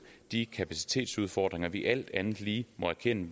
de kapacitetsudfordringer vi alt andet lige må erkende